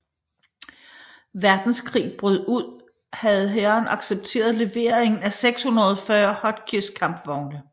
Verdenskrig brød ud havde hæren accepteret levering af 640 Hotchkiss kampvogne